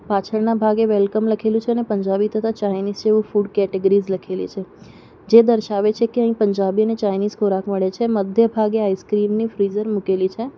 પાછળના ભાગે વેલકમ લખેલું છે અને પંજાબી તથા ચાઈનીઝ એવું ફૂડ કેટેગરીઝ લખેલી છે જે દર્શાવે છે કે અહીં પંજાબી અને ચાઈનીઝ ખોરાક મળે છે મધ્ય ભાગે આઈસ્ક્રીમની ફ્રીઝર મૂકેલી છે.